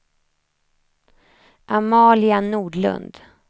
Amalia Nordlund